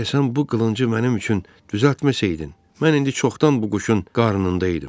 Əgər sən bu qılıncı mənim üçün düzəltməsəydin, mən indi çoxdan bu quşun qarnında idim.